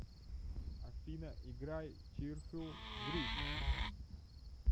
афина играй чирфул гриф